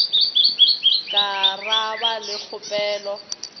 ka ra ba le kgopelo